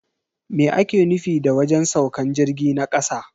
Me ake nufi da wajen saukan jirgi na kasa?